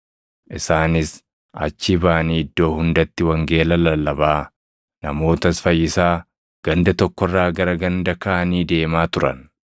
Isaanis achii baʼanii iddoo hundatti wangeela lallabaa, namootas fayyisaa ganda tokko irraa gara ganda kaanii deemaa turan.